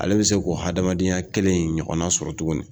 Ale bɛ se k'o hadamadenya kelen in ɲɔgɔnna sɔrɔ tuguni